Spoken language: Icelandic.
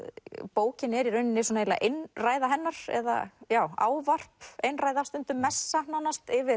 bókin er í rauninni einræða hennar eða ávarp einræða stundum messa nánast yfir